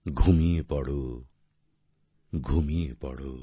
ঘুমিয়ে পড়ো ঘুমিয়ে পড়ো